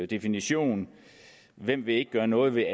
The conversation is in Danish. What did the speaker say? definition hvem vil ikke gøre noget ved